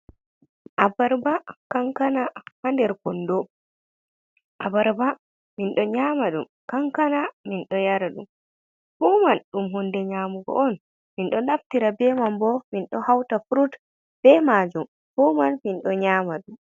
Abarba, kankana, haa nder kondo. Abarba min ɗo nyaama ɗum, kankana min ɗo yara ɗum, fu man ɗum hunde nyaamugo on, min ɗo naftira be man bo min ɗo hauta furut be maajum, fu man min ɗo nyaama ɗum.